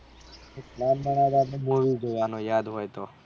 movie જોવવાનું યાદ હોય તો